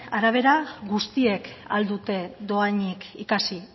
arabera guztiek ahal dute dohainik ikasi